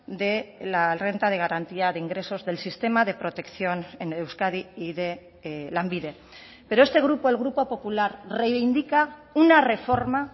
de la renta de garantía de ingresos del sistema de protección en euskadi y de lanbide pero este grupo el grupo popular reivindica una reforma